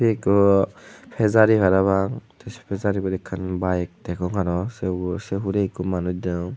ekku pejari parapang the se pejaribut ekkan bike degong aro se hure ekku manuj degong.